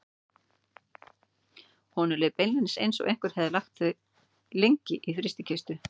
Honum leið í beinunum eins og einhver hefði lagt þau lengi í frystikistu.